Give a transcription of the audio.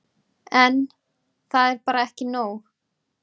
En. það er bara ekki nóg.